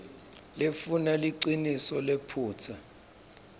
lefuna liciniso liphutsa